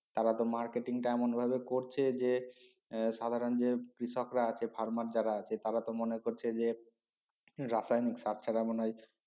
তারা তো marketing টা এমন ভাবে করছে যে এ সাধারন যে কৃষকরা আছে Farmer যারা আছে তারা তো মনে করছে যে রাসায়নিক সার ছাড়া মনে হয়